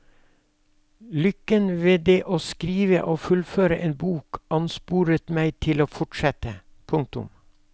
Lykken ved det å skrive og fullføre en bok ansporet meg til å fortsette. punktum